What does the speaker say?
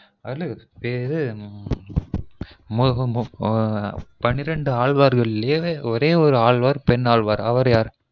அது மொ இது பன்னிரெண்டு ஆழ்வார்களிலெ ஒரே ஒரு ஆழ்வார் பெண்ணாழ்வார் அவரு யாரு? அவரு பேரு